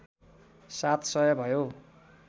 सात सय भयो